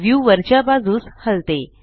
view वरच्या बाजूस हलते